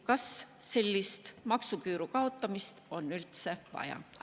Kas sellist maksuküüru kaotamist on üldse vaja?